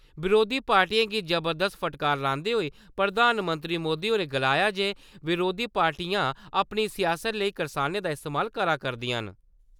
बरोधी पार्टियें गी जबरदस्त फटकार लांदे होई प्रधानमंत्री मोदी होरें गलाया जे बरोधी पार्टियां अपनी सियास्त लेई करसानें दा इस्तेमाल करा करदिआं न।